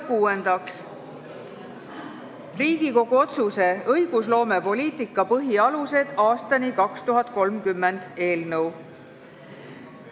Kuuendaks, Riigikogu otsuse "Õigusloomepoliitika põhialused aastani 2030" eelnõu.